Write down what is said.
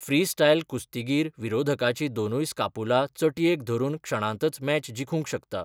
Freestyle कुस्तीगीर विरोधकाची दोनूय स्कापुला चटयेक धरून क्षणांतच मॅच जिखूंक शकता.